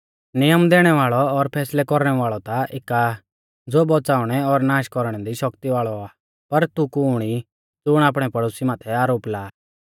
नियम दैणै वाल़ौ और फैसलै कौरणै वाल़ौ ता एका आ ज़ो बौच़ाउणै और नाष कौरणै दी शक्ति वाल़ौ आ पर तू कुण ई ज़ुण आपणै पड़ोसी माथै आरोप लाआ